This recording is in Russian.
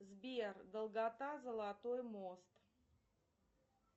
сбер долгота золотой мост